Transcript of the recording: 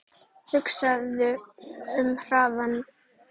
Hugsaðu um hraðann